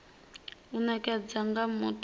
u nekedzwa nga muthu wa